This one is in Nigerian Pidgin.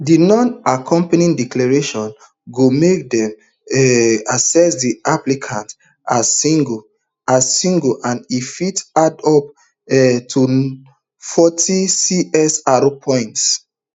di nonaccompanying declaration go make dem um assess di applicants as single as single and e fit add up um to forty csr points